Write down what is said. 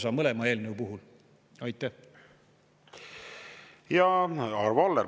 Arvo Aller, palun!